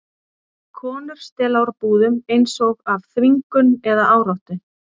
Konur stela úr búðum, eins og af þvingun eða áráttu.